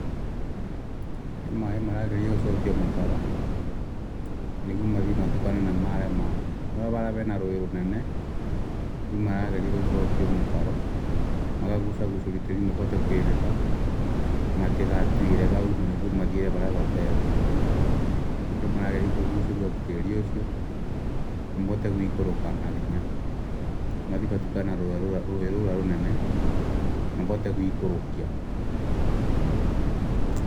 Nĩ maĩ maragerio gũcokio mũtaro nĩguo mathiĩ matukane na marĩa mangĩ. Harĩa hena rũĩ rũnene rĩu maragerio gũcokio mũtaro nĩguo magũcagucirio tĩri mahote matigathiire hau mathiĩre harĩa. Nĩkĩo marageria kũguceria tĩri ũcio mahote kwĩbĩka gũikũrũka na hinya. Mathiĩ matukane na rũĩ rũnene mabote gũikũrũkia